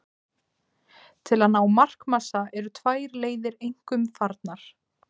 Til að ná markmassa eru tvær leiðir einkum farnar.